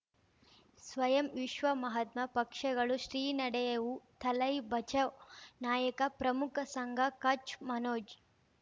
ಸ್ವಯಂ ವಿಶ್ವ ಮಹಾತ್ಮ ಪಕ್ಷಗಳು ಶ್ರೀ ನಡೆಯೂ ದಲೈ ಬಚೌ ನಾಯಕ ಪ್ರಮುಖ ಸಂಘ ಕಚ್ ಮನೋಜ್